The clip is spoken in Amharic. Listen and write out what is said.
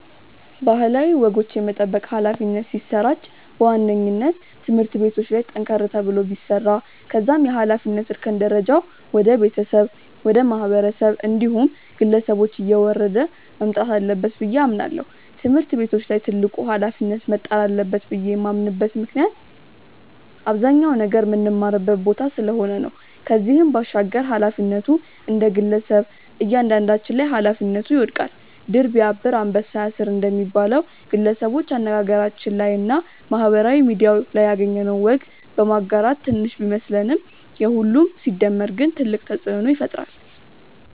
ባህላዊ ወጎች የመጠበቅ ኃላፊነት ሲሰራጭ በዋነኝነት ትምህርት ቤቶች ላይ ጠንከር ተብሎ ቢሰራ ከዛም የኃላፊነት እርከን ደረጃው ወደ ቤተሰብ፣ ወደ ማህበረሰብ እንዲሁም ግለሰቦች እየወረደ መምጣት አለበት ብዬ አምናለው። ትምህርት ቤቶች ላይ ትልቁ ኃላፊነት መጣል አለበት ብዬ የማምንበት ምክንያት አብዛኛውን ነገር ምንማርበት ቦታ ስለሆነ ነው። ከዚህም ባሻገር ኃላፊነቱ እንደግለሰብ እያንዳንዳችን ላይ ኃላፊነቱ ይወድቃል። 'ድር ቢያብር አንበሳ ያስር' እንደሚባለው፣ ግለሰቦች አነጋገራችን ላይ እና ማህበራዊ ሚድያ ላይ ያገኘነውን ወግ በማጋራት ትንሽ ቢመስለንም የሁሉም ሲደመር ግን ትልቅ ተጽእኖ ይፈጥራል።